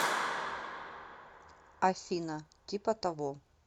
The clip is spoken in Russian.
афина типа того